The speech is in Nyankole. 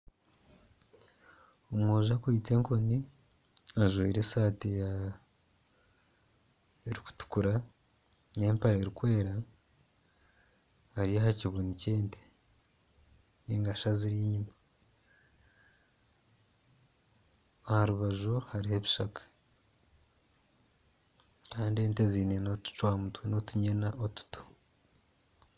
Omwojo akwaitse enkoni ajwaire esaati erikutukura nempare erikwera Ari aha kibunu ky'ente ningashi aziri enyuma aha rubaju hariho ebishaka kandi ente zaine otucwamutwe otunyina otuto